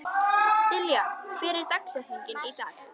Dilja, hver er dagsetningin í dag?